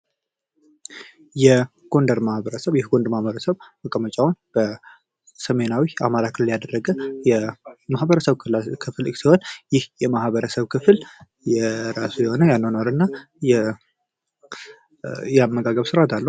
የጎንደር ማህበረሰብ መቀመጫውን በሰሜናዊ የአማራ ክልል ያደረገ የማህበረሰብ ክፍል ሲሆን ይህ የማህበረሰብ ክፍል የራሱ የሆነ የአኗኗር እና የአመጋገብ ሥርዓት አለው።